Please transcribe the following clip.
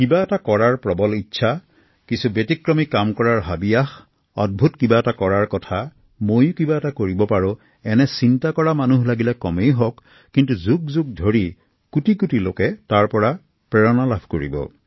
কিবা এটা কৰাৰ প্ৰবল ইচ্ছা কিছু ব্যতিক্ৰমী চিন্তা ময়ো কিবা কৰিব পাৰো এনে চিন্তা কৰা মানুহ লাগিলে কমেই হওক কিন্তু যুগ যুগ ধৰি কোটি কোটি লোকে তাৰ পৰা প্ৰেৰণা লাভ কৰিব